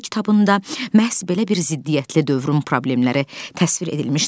Anamın kitabında məhz belə bir ziddiyyətli dövrün problemləri təsvir edilmişdir.